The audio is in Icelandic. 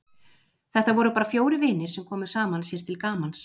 Þetta voru bara fjórir vinir sem komu saman sér til gamans.